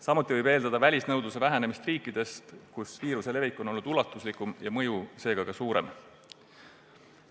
Samuti võib eeldada välisnõudluse vähenemist riikidest, kus viiruse levik on olnud ulatuslikum ja mõju seega suurem.